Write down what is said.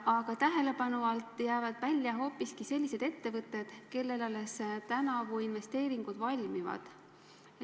Aga tähelepanu alt jäävad välja hoopiski sellised ettevõtted, kellel alles tänavu investeeringud valmivad.